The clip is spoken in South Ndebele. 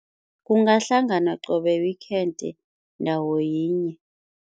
Kungahlanganwa qobe weekend ndawo yinye.